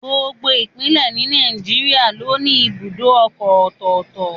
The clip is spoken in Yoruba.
Gbogbo Ìpínlẹ̀ ni Nàìjíríà ló ní ibùdó ọkọ̀ ọ̀tọ̀ọ̀tọ̀